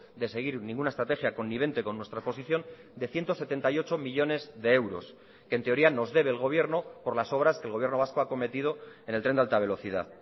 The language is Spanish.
de seguir ninguna estrategia connivente con nuestra posición de ciento setenta y ocho millónes de euros que en teoría nos debe el gobierno por las obras que el gobierno vasco ha acometido en el tren de alta velocidad